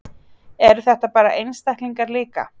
Eru þetta bara einstaklingar líka?